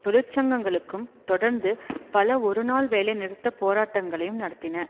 தொழிற்சங்கங்களும் தொடர்ந்து பல ஒரு நாள் வேலை நிறுத்த போராட்டங்களையும் நடத்தின